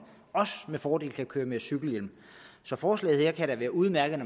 med fordel kan køre med cykelhjelm så forslaget her kan da være udmærket